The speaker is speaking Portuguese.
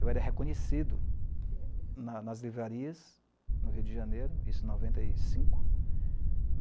Eu era reconhecido nas livrarias no Rio de Janeiro, isso em noventa e cinco